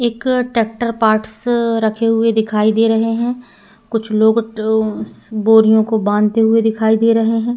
एक tractor parts रखे हुए दिखाई दे रहे हैं। कुछ लोग अ बोरियों को बांधते हुए दिखाई दे रहे हैं।